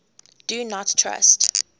do not trust